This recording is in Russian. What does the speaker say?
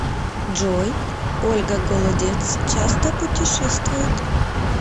джой ольга голодец часто путешествует